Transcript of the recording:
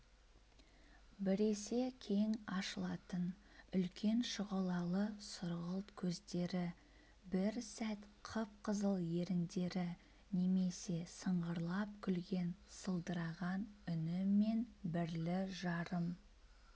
біресе кең ашылатын үлкен шұғылалы сұрғылт көздері бір сәт қып-қызыл еріндері немесе сыңғырлап күлген сылдыраған үні мен бірлі-жарым